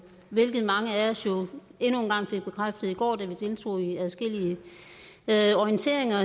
hvilket mange af os endnu en gang blev bekræftet i i går da vi deltog i adskillige orienteringer